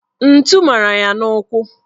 Ntu mara ya n'ụkwụ